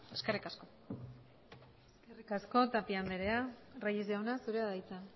eskerrik asko eskerrik asko tapia andrea reyes jauna zurea da hitza